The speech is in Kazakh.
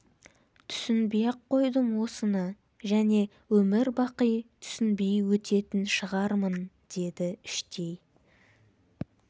түсінбей-ақ қойдым осыны және өмір бақи түсінбей өтетін шығармын деді іштей